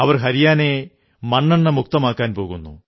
അവർ ഹരിയാനയെ മണ്ണെണ്ണമുക്തമാക്കാൻ പോകുന്നു